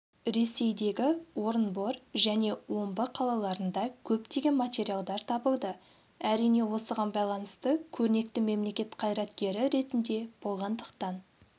ресейдегі орынбор және омбы қалаларында көптеген материалдар табылды әрине осыған байланысты көрнекті мемлекет қайраткері ретінде болғандықтан